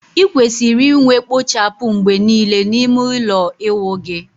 Ị kwesịrị inwe kpochapu mgbe niile n'ime ụlọ ịwụ gị